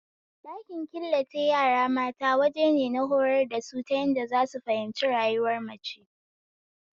Ɗakin killace yara mata wajene na horar da su ta yadda zasu fahimci rayuwar mace